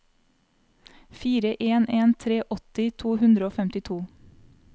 fire en en tre åtti to hundre og femtito